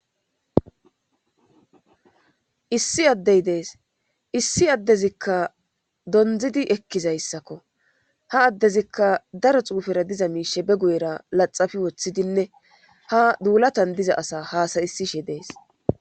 issi addey dees issi addezikka donzidi ekkizayssakko ha addezikka daro xuufera diza miishe be guyera laxafi woththidinne ha duulatan diza asa haasayisishe dees